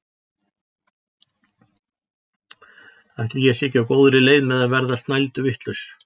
Ætli ég sé ekki á góðri leið með að verða snælduvitlaus!